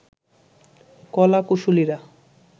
কলা কুশলীরা